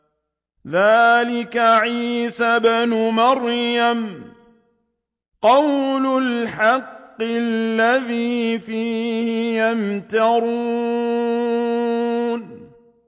ذَٰلِكَ عِيسَى ابْنُ مَرْيَمَ ۚ قَوْلَ الْحَقِّ الَّذِي فِيهِ يَمْتَرُونَ